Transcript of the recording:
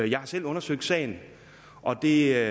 jeg har selv undersøgt sagen og det